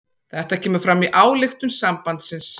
Þetta kemur fram í ályktun sambandsins